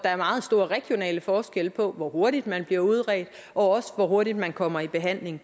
er meget store regionale forskelle på hvor hurtigt man bliver udredt og hvor hurtigt man kommer i behandling